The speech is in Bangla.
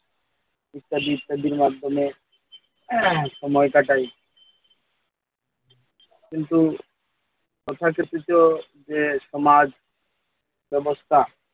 ইত্যাদি ইত্যাদির মাধ্যমে সময় কাটাই কিন্তু তথাকথিত যে সমাজ ব্যাবস্থা